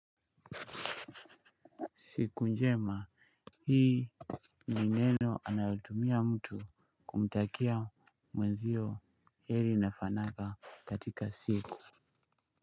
Siku njema, hii ni neno anayotumia mtu kumtakia mwenzio heri na fanaka katika siku.